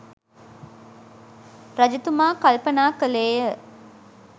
රජතුමා කල්පනා කළේය.